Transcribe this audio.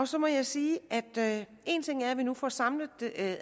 så må jeg sige at vi nu får samlet